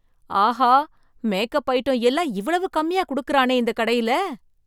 ஆஹா! Makeup item எல்லாம் இவ்வளவு கம்மியா கொடுக்கிறானே இந்த கடையில!